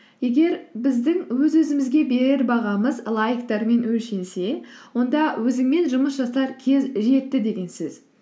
егер біздің өз өзімізге берер бағамыз лайктармен өлшенсе онда өзіңмен жұмыс жасар кез жетті деген сөз